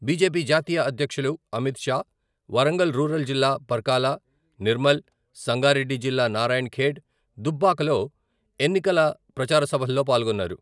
BJP జాతీయ అధ్యక్షులు Amit Shah Warangal rural జిల్లా పరకాల, నిర్మల్, సంగారెడ్డి జిల్లా నారాయణఖేడ్, దుబ్బాకలో ఎన్నికల ప్రచారసభల్లో పాల్గొన్నారు.